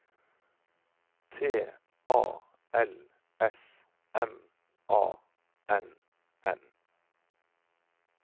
T A L S M A N N